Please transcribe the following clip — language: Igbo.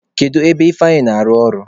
Kedu ebe Ifeanyi na-arụ ọrụ?